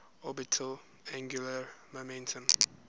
orbital angular momentum